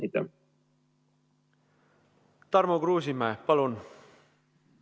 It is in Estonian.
Tarmo Kruusimäe, palun!